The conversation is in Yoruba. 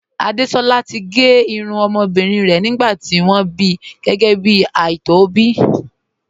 Àdésolá ti gé irun ọmọbìnrin rẹ̀ nígbà tí wọ́n bí gẹ́gẹ́ bí ààtò ìbí